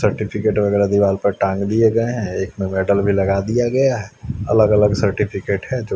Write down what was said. certificate वगैरा दीवाल पर टांग दिए गए हैं एक में मेडल भी लगा दिया गया है अलग अलग सर्टिफिकेट है जो--